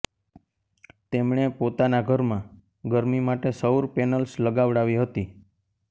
તેમણે પોતાના ઘરમાં ગરમી માટે સૌર પેનલ્સ લગાવડાવી હતી